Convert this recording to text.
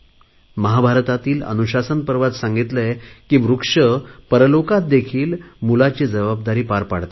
महाभारतातील अनुशासन पर्वात सांगितले आहे की वृक्ष परलोकात देखील मुलाची जबाबदारी पार पाडतात